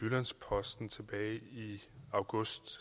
jyllands posten tilbage i august